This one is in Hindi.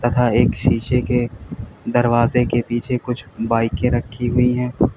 तथा एक शीशे के दरवाजे के पीछे कुछ बाइके रखी हुई हैं।